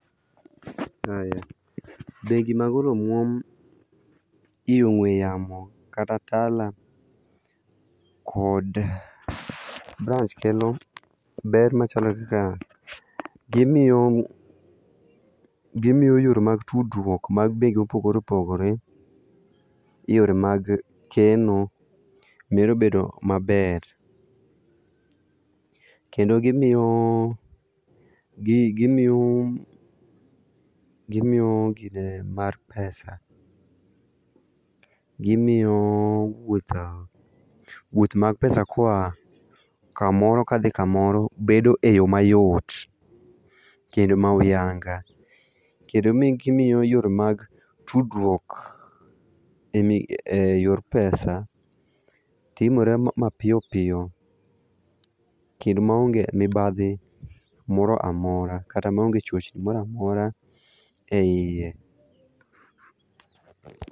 Aya, beng mag golo omuom ei ongwe yama kaka Tala kod Branch kelo ber kaka, gimiyo, gimiyo yore mag tudruok mag bengi mopogore opogore, yore mag keno medo bedo maber. Kendo gimiyo gimiyo, gimiyo ginene mar pesa, gimiyo wuoth mag pesa koa kamoro kadhi kamoro bedo mayot kendo ma huyanga. kendo gimiyo yore mag tudruok e yor pesa timore mapiyo piyo kendo maonge mibadhi moro amora kendo maonge chochni moro amora e iye.